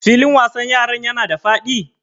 Filin wasan yaran yana da faɗi?